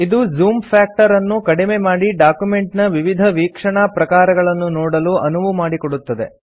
ಇದು zoom factor ಅನ್ನು ಕಡಿಮೆ ಮಾಡಿ ಡಾಕ್ಯುಮೆಂಟ್ ನ ವಿವಿಧ ವೀಕ್ಷಣಾ ಪ್ರಕಾರಗಳನ್ನು ನೋಡಲು ಅನುವು ಮಾಡಿಕೊಡುತ್ತದೆ